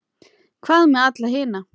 Hvað með alla hina?